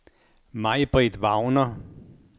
Maj-Britt Wagner